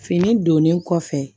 Fini donnen kɔfɛ